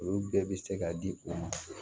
Olu bɛɛ bɛ se ka di o ma